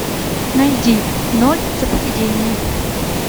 найди ноль за поведение